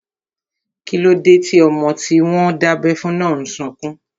Kíló dé tí ọmọ tí wọ́n dábẹ́ fún náà n sọkún?